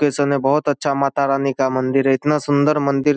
है बहुत अच्छा माता रानी का मंदिर है इतना सुंन्दर मंदिर --